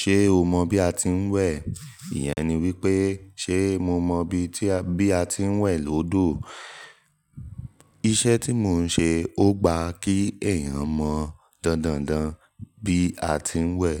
Ṣé o mọ bí a ti ń wẹ̀? Ìyẹn ni wípé ṣe mo mọ bí a ti ń wẹ̀ lódò. Iṣẹ́ tí mo ń ṣe ó gba kí èèyàn mọ̀ dandandan bí a ti ń wẹ̀.